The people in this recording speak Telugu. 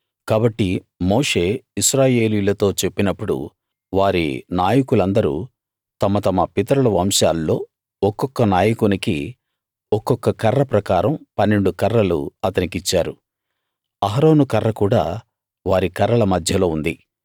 కాబట్టి మోషే ఇశ్రాయేలీయులతో చెప్పినప్పుడు వారి నాయకులందరూ తమ తమ పితరుల వంశాల్లో ఒక్కొక్క నాయకునికి ఒక్కొక్క కర్ర ప్రకారం 12 కర్రలు అతనికిచ్చారు అహరోను కర్ర కూడా వారి కర్రల మధ్యలో ఉంది